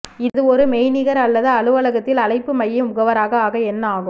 இது ஒரு மெய்நிகர் அல்லது அலுவலகத்தில் அழைப்பு மைய முகவராக ஆக என்ன ஆகும்